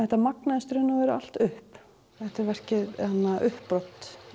þetta magnaðist í raun og veru allt upp þetta er verkið uppbrot